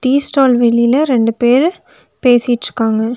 Tea stall வெளியில ரெண்டு பேரு பேசிட்ருக்காங்க.